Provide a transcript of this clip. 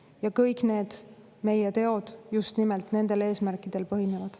Ja kõik meie teod just nimelt nendest eesmärkidest tulenevad.